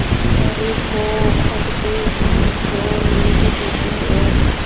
पर पौ फटते ही जो नींद टूटी और